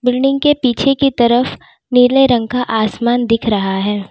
Building के पीछे की तरफ नीले रंग का आसमान दिख रहा है।